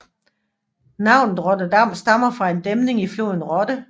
Navnet Rotterdam stammer fra en dæmning i floden Rotte